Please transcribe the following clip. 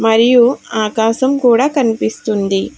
మరియు ఆకాశం కూడా కనిపిస్తుంది.